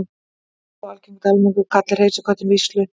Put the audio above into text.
enn er þó algengt að almenningur kalli hreysiköttinn víslu